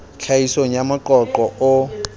tlhahisong ya moqo qo o